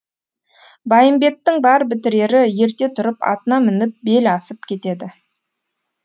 байымбеттің бар бітірері ерте тұрып атына мініп бел асып кетеді